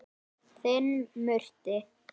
Þinn Murti.